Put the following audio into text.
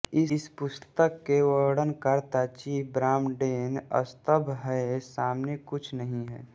इस पुस्तक के वर्णनकर्ता चीफ ब्रॉमडेन स्तब्ध हैं सामने कुछ नहीं है